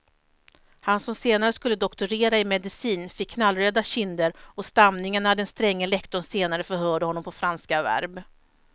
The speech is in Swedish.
Han som senare skulle doktorera i medicin fick knallröda kinder och stamningar när den stränge lektorn senare förhörde honom på franska verb.